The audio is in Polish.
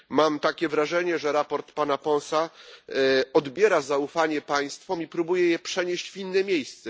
Mam wrażenie, że raport pana Ponsa odbiera zaufanie państwom i próbuje je przenieść w inne miejsce.